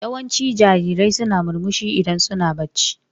Yawancin jarirai suna murmushi idan suna barci.